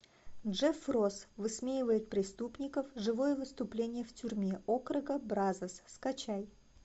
джеф росс высмеивает преступников живое выступление в тюрьме округа бразос скачай